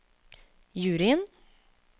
juryen